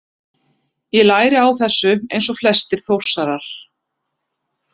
Ég læri á þessu eins og flestir Þórsarar.